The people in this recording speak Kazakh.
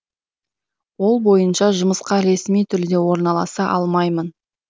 ол бойынша жұмысқа ресми түрде орналаса алмаймын